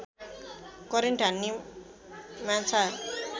current हान्ने माछा